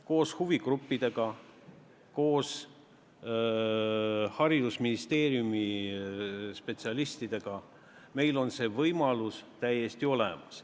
Koos huvigruppidega, koos haridusministeeriumi spetsialistidega on meil see võimalus täiesti olemas.